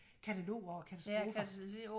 Katalog over katastrofer